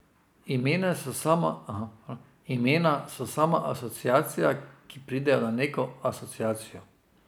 Imena so samo asociacija, ki pridejo na neko asociacijo.